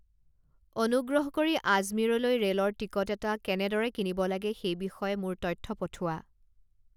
অনুগ্ৰহ কৰি আজমীৰলৈ ৰে'লৰ টিকট এটা কেনেদৰে কিনিব লাগে সেই বিষয়ে মোলৈ তথ্য পঠোৱা